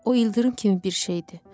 O ildırım kimi bir şeydir.